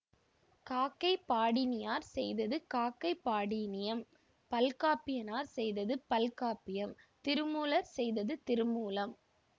காக்கை பாடினியார் செய்தது காக்கைபாடினியம் பல்காப்பியனார் செய்தது பல்காப்பியம் திருமூலர் செய்தது திருமூலம்